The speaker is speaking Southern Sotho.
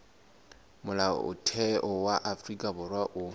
molaotheo wa afrika borwa o